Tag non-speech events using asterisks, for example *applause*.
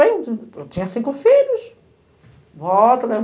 eu tinha cinco filhos. *unintelligible*